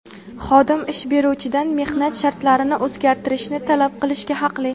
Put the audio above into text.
xodim ish beruvchidan mehnat shartlarini o‘zgartirishni talab qilishga haqli.